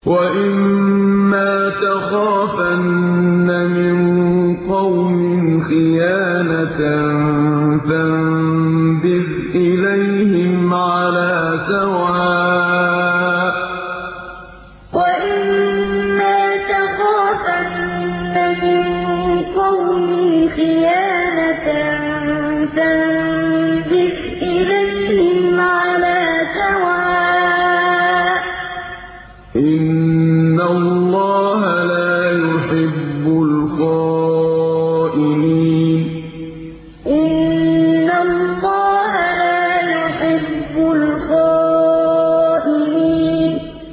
وَإِمَّا تَخَافَنَّ مِن قَوْمٍ خِيَانَةً فَانبِذْ إِلَيْهِمْ عَلَىٰ سَوَاءٍ ۚ إِنَّ اللَّهَ لَا يُحِبُّ الْخَائِنِينَ وَإِمَّا تَخَافَنَّ مِن قَوْمٍ خِيَانَةً فَانبِذْ إِلَيْهِمْ عَلَىٰ سَوَاءٍ ۚ إِنَّ اللَّهَ لَا يُحِبُّ الْخَائِنِينَ